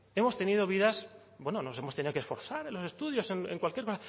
hemos tenido vidas bueno nos hemos tenido que esforzar en los estudios en cualquier